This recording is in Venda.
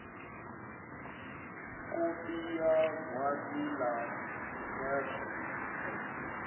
kopi ya gwati la khetho